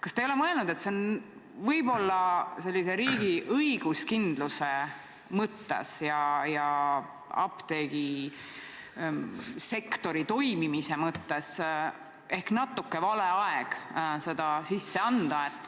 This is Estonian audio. Kas te ei ole mõelnud, et see oli võib-olla riigi õiguskindluse mõttes ja apteegisektori toimimise mõttes ehk natuke vale aeg see eelnõu sisse anda?